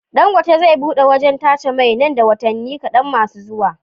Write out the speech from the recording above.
Dangote zai buɗe wajan tace mai nan da watani kadan masu zuwa